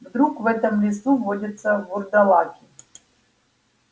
вдруг в этом лесу водятся вурдалаки